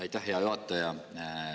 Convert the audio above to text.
Aitäh, hea juhataja!